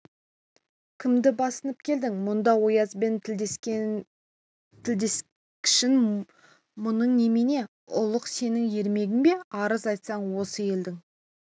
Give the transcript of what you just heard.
кімді басынып келдің мұнда оязбен тілдескішін мұның немене ұлық сенің ермегің бе арыз айтсаң осы елдің